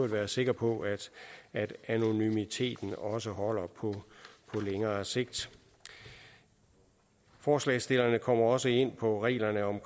være sikker på at anonymiteten også holder på længere sigt forslagsstillerne kommer også ind på reglerne om